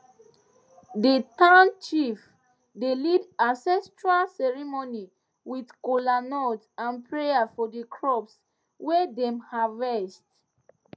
the town chief dey lead ancestral ceremony with kola nut and prayer for the crops wey dem harvest